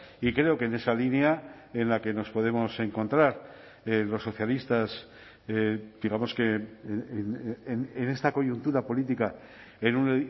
y creo que en esa línea en la que nos podemos encontrar los socialistas digamos que en esta coyuntura política en un